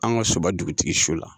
An ka soba dugutigi su la